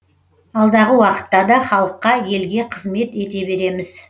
алдағы уақытта да халыққа елге қызмет ете береміз